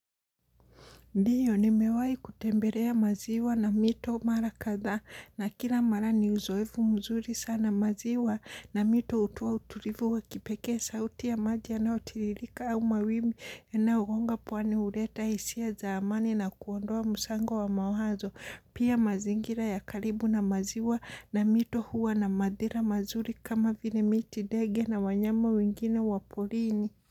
Ndio nimewahi kutembelea maziwa na mito mara kadhaa na kila mara ni uzoefu mzuri sana. Maziwa na mito hutoa utulivu wa kipekee, sauti ya maji yanayotiririka au mawimbi yanayogonga pwani huleta hisia za amani na kuondoa msango wa mawazo. Pia mazingira ya karibu na maziwa na mito huwa na madhira mazuri kama vile miti, ndege na wanyama wengine wa porini.